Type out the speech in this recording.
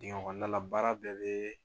Dingɛ kɔnɔna la baara bɛɛ bɛ